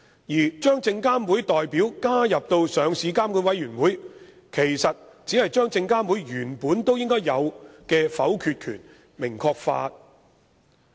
在上市監管委員會加入證監會代表，其實只是將證監會原本應該有的否決權明確化。